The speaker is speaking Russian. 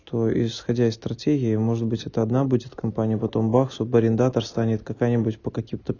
то исходя из стратегии может быть это одна будет компания потом бах субарендатор станет какая-нибудь по каким-то